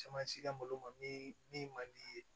Caman si ka malo ma min ma di ye